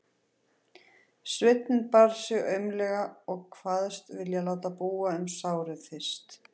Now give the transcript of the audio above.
Sveinninn bar sig aumlega og kvaðst vilja láta búa um sárið fyrst.